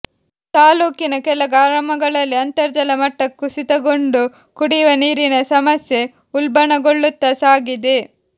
ತಾಲ್ಲೂಕಿನ ಕೆಲ ಗ್ರಾಮಗಳಲ್ಲಿ ಅಂತರ್ಜಲ ಮಟ್ಟ ಕುಸಿತಗೊಂಡು ಕುಡಿಯುವ ನೀರಿನ ಸಮಸ್ಯೆ ಉಲ್ಬಣಗೊಳ್ಳುತ್ತ ಸಾಗಿದೆ